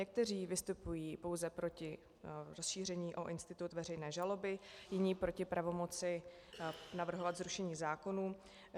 Někteří vystupují pouze proti rozšíření o institut veřejné žaloby, jiní proti pravomoci navrhovat zrušení zákonů.